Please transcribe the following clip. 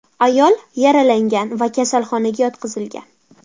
Ayol yaralangan va kasalxonaga yotqizilgan.